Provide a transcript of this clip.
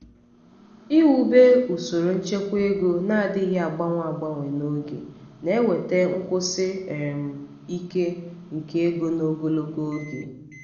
iwube usoro nchekwa ego um na-adịghị agbanwe agbanwe n'oge na-eweta nkwụsi um ike nke ego n'ogologo oge.